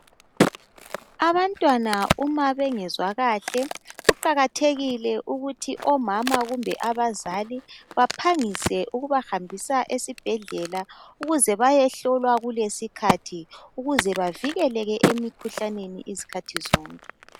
Abantwana uma bengezwa kahle kuqakathekile ukuthi omama kumbe abazali baphangise ukubahambisa esibhedlela ukuze bayehlolwa kulesikhathi. Ukuze bavikeleke emikhuhlaneni izikhathi zonke.